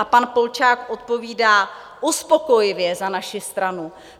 A pan Polčák odpovídá: Uspokojivě, za naši stranu.